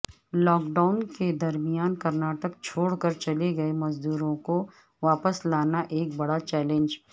lock down کے درمیان کرناٹک چھوڑ کر چلے گئےمزدوروں کو واپس لانا ایک بڑا چیلنج